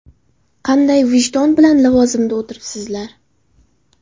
Qanday vijdon bilan lavozimda o‘tiribsizlar?!